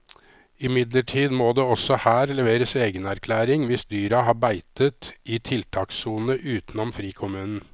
Imidlertid må det også her leveres egenerklæring hvis dyra har beitet i tiltakssone utenom frikommunen.